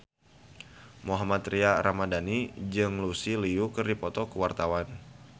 Mohammad Tria Ramadhani jeung Lucy Liu keur dipoto ku wartawan